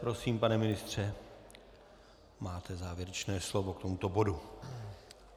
Prosím, pane ministře, máte závěrečné slovo k tomuto bodu.